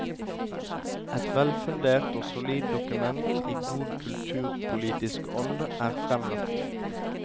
Et velfundert og solid dokument i god kulturpolitisk ånd er fremlagt.